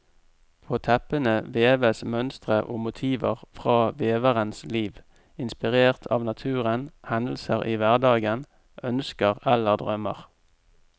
På teppene veves mønstre og motiver fra veverens liv, inspirert av naturen, hendelser i hverdagen, ønsker eller drømmer.